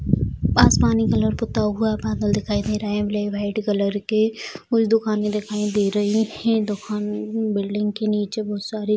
आसमानी कलर पुता हुआ है बादल दिखाई दे रहे है | ब्लैक वाइट कलर के कुछ दुकानें दिखाई दे रही हैं | दुकान बिल्डिंग के नीचे बहुत सारे --